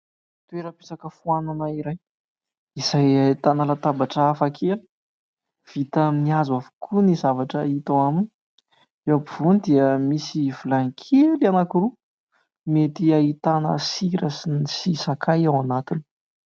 Toeram-pisakafoanana iray izay ahitana latabatra hafakely, vita amin'ny hazo avokoa ny zavatra hita ao aminy, eo ampovoany dia misy vilàny kely anankiroa mety ahitana sira sy ny sakay ao anatiny.